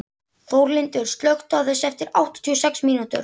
Þórlindur, slökktu á þessu eftir áttatíu og sex mínútur.